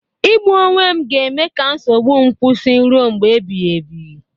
Igbu onwe m ga-eme ka nsogbu m kwụsị ruo mgbe ebighị ebi